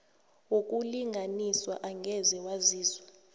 wokulinganiswa angeze waziswa